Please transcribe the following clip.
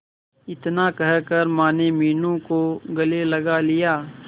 इतना कहकर माने मीनू को गले लगा लिया